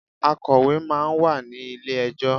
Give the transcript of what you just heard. Akọ̀wé máa ń wà ní ilé ẹjọ́.